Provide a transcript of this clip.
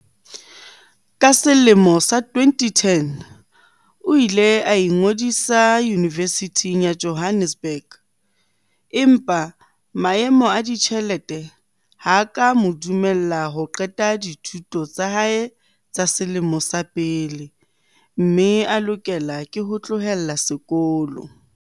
Ka selemo sa 2010, o ile a ingodisa Yunivesithing ya Jo hannesburg empa maemo a ditjhelete ha a ka a mo dumella ho qeta dithuto tsa hae tsa selemo sa pele mme a lokela ho tlohela sekolo.